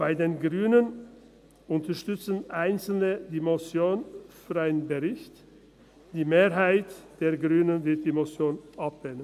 Bei den Grünen unterstützen einzelne die Motion für einen Bericht, die Mehrheit der Grünen wird die Motion ablehnen.